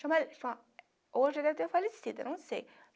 Hoje já deve ter falecido, eu não sei.